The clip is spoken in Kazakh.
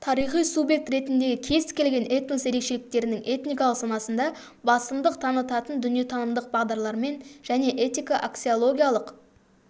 тарихи субъект ретіндегі кез-келген этнос ерекшеліктерінің этникалық санасында басымдық танытатын дүниетанымдық бағдарлармен және этика-аксиологиялық